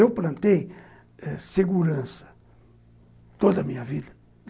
Eu plantei ãh segurança toda a minha vida.